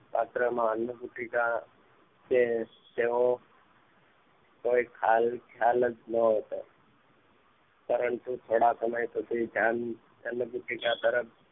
શાસ્ત્રમાં અન્ન કુટીકા કે તેઓ ખયાલ ખ્યાલ જ ન હતો પરંતુ થોડા સમય પછી ધ્યાન અન્ન કુટીકા તરફ